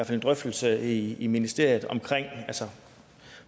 en drøftelse i ministeriet